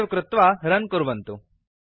save कृत्वा run कुर्वन्तु